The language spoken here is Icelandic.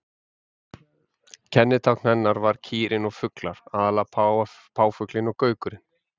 Kennitákn hennar var kýrin og fuglar, aðallega páfuglinn og gaukurinn.